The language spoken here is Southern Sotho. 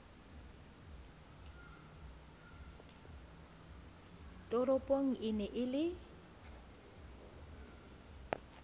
toropong e ne e le